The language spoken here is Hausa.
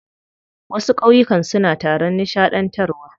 Wasu ƙauyukan suna taron nishaɗantarwa.